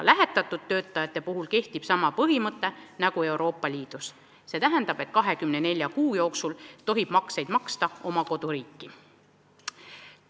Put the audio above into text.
Lähetatud töötajate puhul kehtib sama põhimõte nagu kogu Euroopa Liidus: 24 kuu jooksul tohib makseid maksta oma koduriiki.